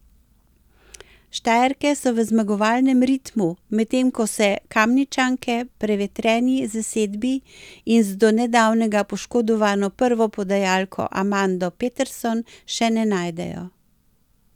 Štajerke so v zmagovalnem ritmu, medtem ko se Kamničanke v prevetreni zasedbi in z do nedavnega poškodovano prvo podajalko Amando Peterson še ne najdejo.